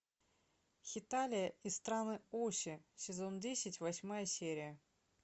хеталия и страны оси сезон десять восьмая серия